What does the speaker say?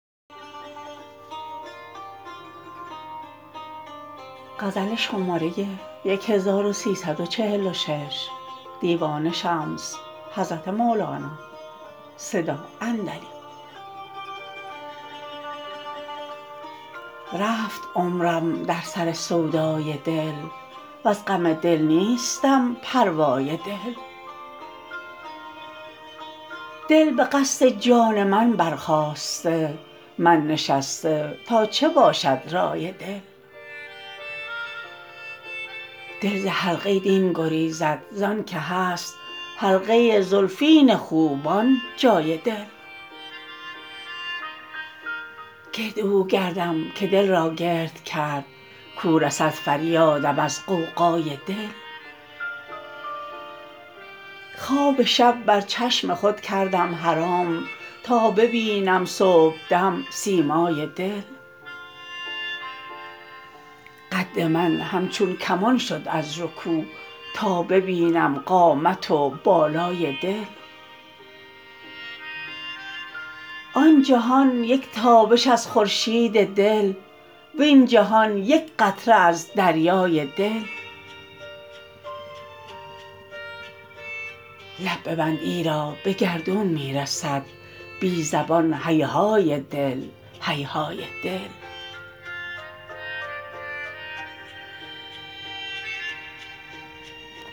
رفت عمرم در سر سودای دل وز غم دل نیستم پروای دل دل به قصد جان من برخاسته من نشسته تا چه باشد رای دل دل ز حلقه دین گریزد زانک هست حلقه زلفین خوبان جای دل گرد او گردم که دل را گرد کرد کو رسد فریادم از غوغای دل خواب شب بر چشم خود کردم حرام تا ببینم صبحدم سیمای دل قد من همچون کمان شد از رکوع تا ببینم قامت و بالای دل آن جهان یک تابش از خورشید دل وین جهان یک قطره از دریای دل لب ببند ایرا به گردون می رسد بی زبان هیهای دل هیهای دل